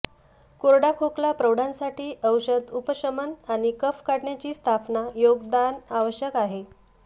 कोरडा खोकला प्रौढांसाठी औषध उपशमन आणि कफ काढण्याची स्थापना योगदान आवश्यक आहे